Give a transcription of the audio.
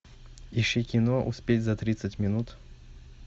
ищи кино успеть за тридцать минут